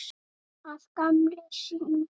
Að gamni sínu?